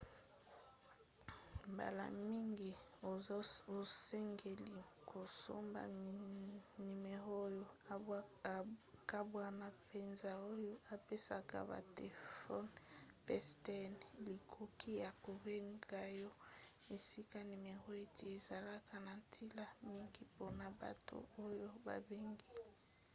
mbala mingi osengeli kosomba nimero oyo ekabwana mpenza oyo epesaka batelefone pstn likoki ya kobenga yo. esika nimero euti ezalaka na ntina mingi mpona bato oyo babengi